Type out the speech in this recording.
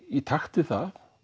í takt við það